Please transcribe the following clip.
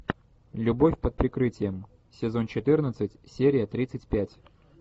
любовь под прикрытием сезон четырнадцать серия тридцать пять